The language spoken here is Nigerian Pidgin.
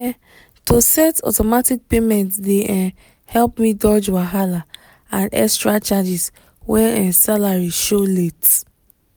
um to set automatic payment dey um help me dodge wahala and extra charges when um salary show late